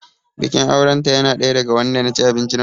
Bikin auren ta yana ɗaya daga wanda na ci abinci na koshi